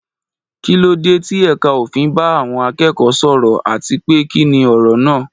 Kí ló dé tí ẹ̀ka òfin bá àwọn akẹ́kọ̀ọ́ sọ̀rọ̀, àti pé kí ni ọ̀rọ̀ náà?